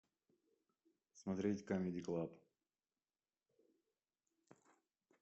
смотреть камеди клаб